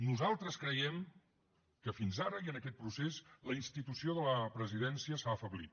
nosaltres creiem que fins ara i en aquest procés la institució de la presidència s’ha afeblit